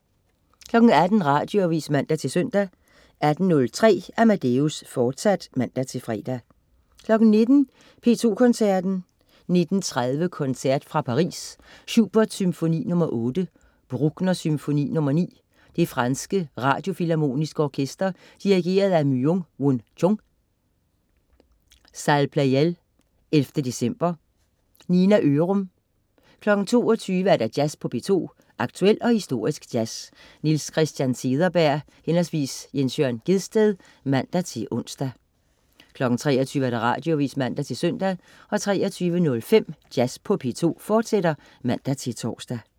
18.00 Radioavis (man-søn) 18.03 Amadeus, fortsat (man-fre) 19.00 P2 Koncerten. 19.30 Koncert fra Paris. Schubert: Symfoni nr. 8. Bruckner: Symfoni nr. 9. Det franske Radiofilharmoniske Orkester. Dirigent: Myung-Whun Chung. (Salle Pleyel 11.december). Nina Ørum 22.00 Jazz på P2. Aktuel og historisk jazz. Niels Christian Cederberg/Jens Jørn Gjedsted (man-ons) 23.00 Radioavis (man-søn) 23.05 Jazz på P2, fortsat (man-tors)